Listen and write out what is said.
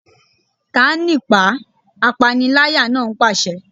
Ta á nípàá! Apániláyà náà pàṣẹ.